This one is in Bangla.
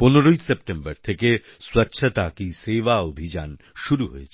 15সেপ্টেম্বর থেকে স্বচ্ছতা হি সেবা অভিযান শুরু হয়েছে